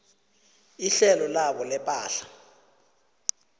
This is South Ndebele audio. ihlelo labo lepahla